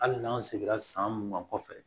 Hali n'an seginna san mugan kɔfɛ